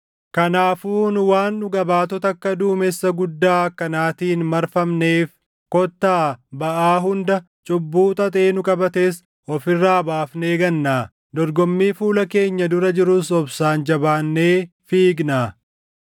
Kanaafuu nu waan dhuga baatota akka duumessa guddaa akkanaatiin marfamneef kottaa baʼaa hunda, cubbuu xaxee nu qabates of irraa baafnee gannaa; dorgommii fuula keenya dura jirus obsaan jabaannee fiignaa;